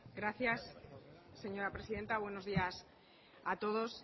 gracias señora presidenta buenos días a todos